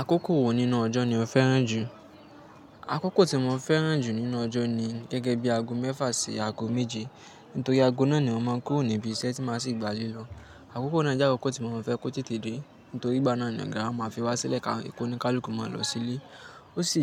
Àkókò wo nínú ọjọ́ ni o fẹ́ràn jù? Àkókò tí mo fẹ́ràn jù nínú ọjọ́ ni gẹ́gẹ́ bí aago mẹ́fà sí aago méje. Nítorí aago náà ni mo máa ń kúrò níbi iṣẹ́ tí màá sì gba lílọ. Àkókò náà jẹ́ àkókò tí mo máa ń fẹ́ kó tètè dé. Nítorí ìgbà náà ni ogá wá máa fi wá sílẹ̀ ká ìkóni kálùkù máa lọ sílé. Ó sì